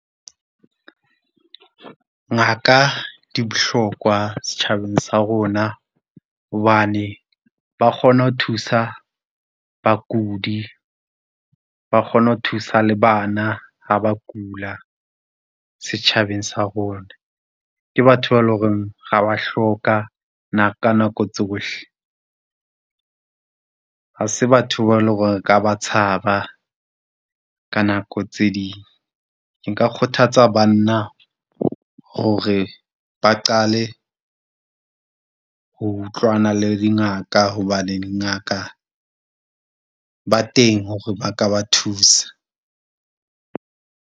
Ngaka di bohlokwa setjhabeng sa rona, hobane ba kgona ho thusa bakudi, ba kgona ho thusa le bana ha ba kula setjhabeng sa rona. Ke batho ba e le horeng ra ba hloka ka nako tsohle. Ha se batho ba e le horeng re ka ba tshaba ka nako tse ding. Nka kgothatsa banna hore ba qale ho utlwana le dingaka hobane dingaka ba teng hore ba ka ba thusa.